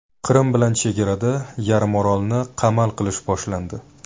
Qrim bilan chegarada yarimorolni qamal qilish boshlandi.